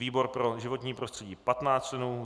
výbor pro životní prostředí 15 členů